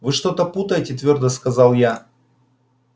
вы что-то путаете твёрдо сказал я